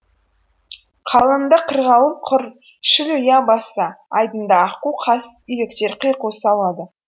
қалыңында қырғауыл құр шіл ұя басса айдынында аққу қаз үйректер қиқу салады